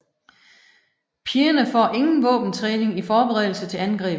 Pigerne får ingen våbentræning i forberedelse til angrebet